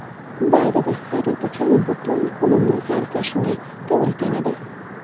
Ba’zida xarid uchun butun kunimni sarflashimga to‘g‘ri keladi.